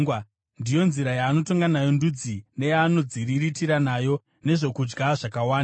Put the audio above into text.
Ndiyo nzira yaanotonga nayo ndudzi neyaanodziriritira nayo nezvokudya zvakawanda.